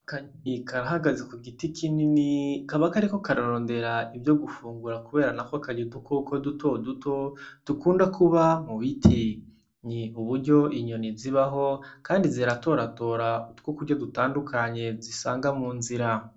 Akanyoni karahagaze ku giti kinini kaba kariko kararondera ivyo gufungura kubera nako karya udukoko dutoduto dukunda kuba mu biti, ni uburyo inyoni zibaho kandi ziratoratora utwo kurya dutandukanye zisanga mu nzira.